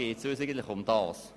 Eigentlich geht es uns darum.